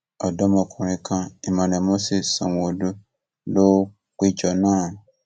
ọdọmọkùnrin kan emmanuel moses sanwóolu ló péjọ náà